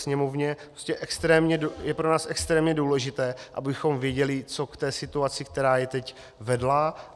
Sněmovně je pro nás extrémně důležité, abychom věděli, co k té situaci, která je teď, vedlo.